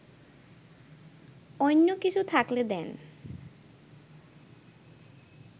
অইন্য কিছু থাকলে দেন